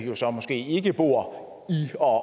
jo så måske ikke bor